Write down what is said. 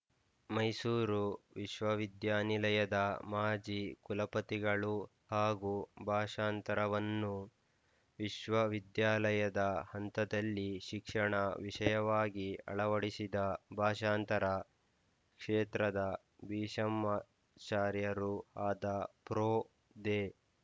ಮೈಸೂರು ವಿಶ್ವವಿದ್ಯಾನಿಲಯದ ಮಾಜಿ ಕುಲಪತಿಗಳೂ ಹಾಗೂ ಭಾಷಾಂತರವನ್ನು ವಿಶ್ವವಿದ್ಯಾಲಯದ ಹಂತದಲ್ಲಿ ಶಿಕ್ಷಣ ವಿಷಯವಾಗಿ ಅಳವಡಿಸಿದ ಭಾಷಾಂತರ ಕ್ಷೇತ್ರದ ಭೀಷಾ್ಮಚಾರ್ಯರೂ ಆದ ಪ್ರೊ ದೇ